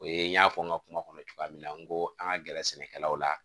O ye n y'a fɔ n ka kuma kɔnɔ cogoya min na n ko an ka gɛrɛ sɛnɛkɛlaw la